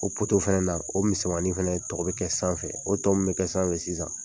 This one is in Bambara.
O fɛnɛ na, o misɛnmanin fɛnɛ tɔgɔ be kɛ sanfɛ. O tɔ min be kɛ sanfɛ sisan